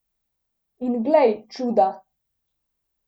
In glej čuda!